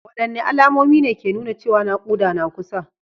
Wadanne alamomi ne ke nuna cewa nakuda na kusa?